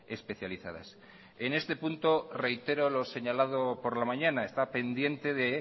especializadas en este punto reitero lo señalado por la mañana está pendiente de